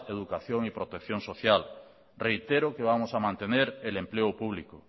educación y protección social reitero que vamos a mantener el empleo público